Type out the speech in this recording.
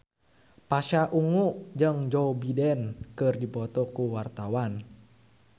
Pasha Ungu jeung Joe Biden keur dipoto ku wartawan